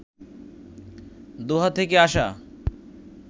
দোহা থেকে আসা